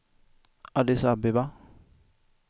Addis Abeba